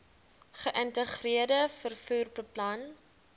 geïntegreerde vervoer plan